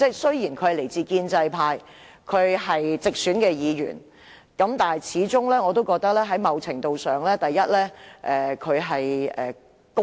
雖然他是來自建制派的直選議員，但我始終覺得他某程度上較為公道。